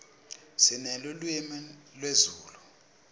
sinelulwimi lezulu